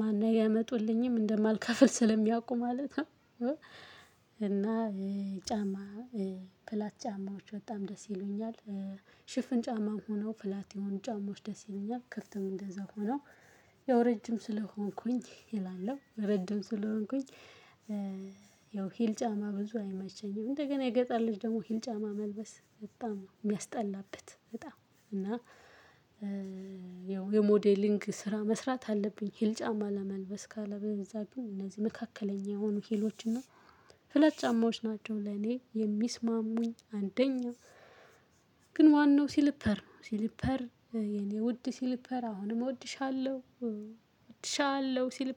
ማን ነው አያመጡልኝም እንደማልከፍል ስለሚያውቁ ማለት ነው። እና ጫማ ፍላት ጫማዎች በጣም ደስ ይሉኛል። ሽፍን ጫማ ሆነው ፍላት የሆኑ ጫማዎች ደስ ይሉኛል ክፍትም እንደዛው ሆነው። ያው ረጅም ስለሆንኩኝ እላለሁ ረጅም ስለሆንኩኝ ያው ሂል ጫማ ብዙ አይመሸኝም። እንደገና የገጠር ልጅ ደግሞ ሂል ጫማ መልበስ በጣም ነው የሚያስጠላበት። በጣም እና ያው የሞዴሊንግ ስራ መስራት አለብኝ ሂል ጫማ ለመልበስ ካለበዛ ግን እነዚህ መካከለኛ የሆኑ ሂሎችና ፍላት ጫማዎች ናቸው። ለኔ የሚስማሙኝ አንደኛው ግን ዋነው ሲሊፐር ነው። ሲልፐር የኔ ውድ ሲልፐር አሁንም እወድሻለሁ እወድሻለሁ ሲልፐር